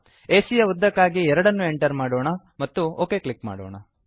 ಎಸಿಯ ಯ ಉದ್ದಕ್ಕಾಗಿ 2 ಅನ್ನು ಎಂಟರ್ ಮಾಡೋಣ ಮತ್ತು ಒಕ್ ಕ್ಲಿಕ್ ಮಾಡೋಣ